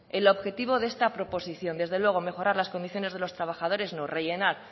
el objetivo de esta proposición desde luego mejorar las condiciones de los trabajadores no rellenar